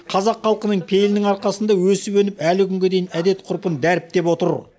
қазақ халқының пейілінің арқасында өсіп өніп әлі күнге дейін әдет ғұрпын дәріптеп отыр